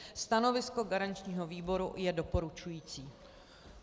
Stanovisko garančního výboru je doporučující.